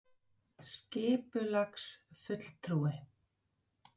En er það hagstæðara að mati spítalans?